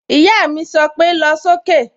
Ìyá mi sọ pé "lọ sókè"